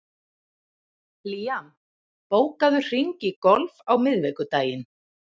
Liam, bókaðu hring í golf á miðvikudaginn.